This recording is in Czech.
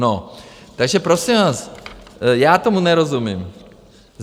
No, takže prosím vás, já tomu nerozumím.